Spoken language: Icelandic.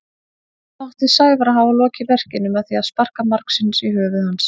Þá átti Sævar að hafa lokið verkinu með því að sparka margsinnis í höfuð hans.